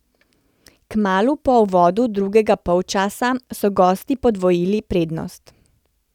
Kmalu po uvodu drugega polčasa so gosti podvojili prednost.